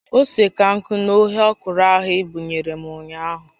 Ose ka nkụ n'oge ọkwụrụ ahụ i buyere m ụnyaahụ